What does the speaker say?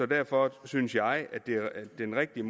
derfor synes jeg at den rigtige